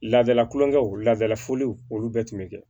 Laadala kulonkɛw ladala foliw olu bɛɛ tun bɛ kɛ